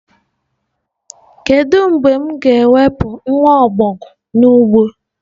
Kedu mgbe m ga-ewepụ nwa ọbọgwụ n'ugbo?